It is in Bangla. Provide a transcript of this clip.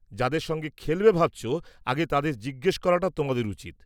-যাদের সঙ্গে খেলবে ভাবছ আগে তাদের জিজ্ঞেস করাটা তোমাদের উচিত।